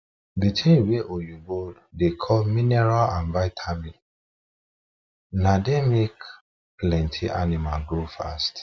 the thing wa oyibo da call mineral and vitamins na the make plenty animals grow fast